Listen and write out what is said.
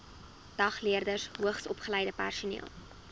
dagleerders hoogsopgeleide personeel